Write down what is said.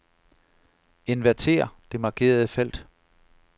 Inverter det markerede felt.